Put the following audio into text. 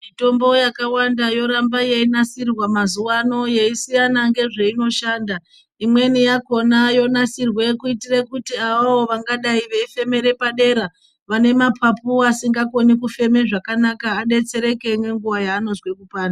Mitombo yakawanda yorambe eyinasirwa mazuvano ,eyisiyana ngezvainoshanda. Imweni yakona yonasirwe kuitire kuti avawo vangadai vefemere padera vanemapapu asingakoni kufeme zvakanaka adetsereke nenguva yaanozwe .